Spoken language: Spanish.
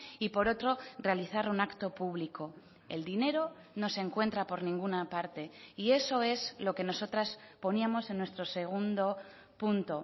y por otro realizar un acto público el dinero no se encuentra por ninguna parte y eso es lo que nosotras poníamos en nuestro segundo punto